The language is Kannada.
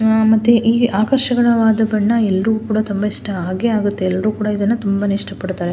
ಆ ಮತ್ತೆ ಅಕಾರ್ಶ್ವದ ಬಣ್ಣ ಎಲ್ರು ಕೂಡ ತುಂಬಾ ಇಷ್ಟ ಆಗೇ ಆಗುತ್ತೆ ಎಲ್ರು ಕೂಡ ಇದನ್ನ ತುಂಬಾಇಷ್ಟ ಪಡ್ತಾ--